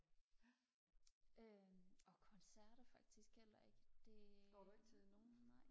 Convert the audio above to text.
øh og koncerter faktisk heller ikke det nej